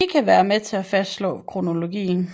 De kan være med til at fastslå kronologien